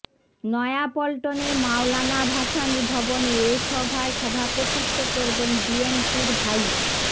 নয়াপল্টনের মাওলানা ভাষানী ভবনে এ সভায় সভাপতিত্ব করবেন বিএনপির ভাইস